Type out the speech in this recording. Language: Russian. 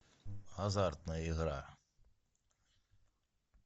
азартная игра